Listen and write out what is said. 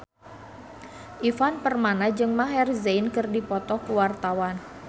Ivan Permana jeung Maher Zein keur dipoto ku wartawan